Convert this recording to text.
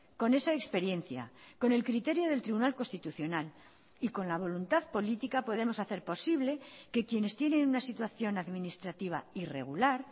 con esa experiencia con el criterio del tribunal constitucional y con la voluntad política podemos hacer posible que quienes tienen una situación administrativa irregular